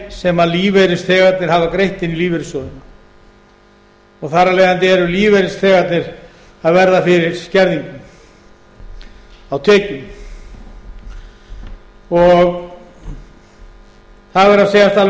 sem lífeyrisþegarnir hafa greitt inn í lífeyrissjóðina og þar af leiðandi eru lífeyrisþegarnir að verða fyrir skerðingum á tekjum það verður að segjast alveg